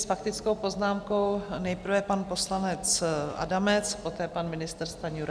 S faktickou poznámkou nejprve pan poslanec Adamec, poté pan ministr Stanjura.